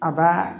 A ba